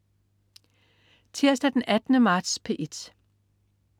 Tirsdag den 18. marts - P1: